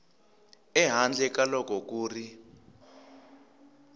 ehandle ka loko ku ri